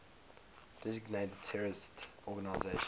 designated terrorist organizations